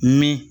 Mɛ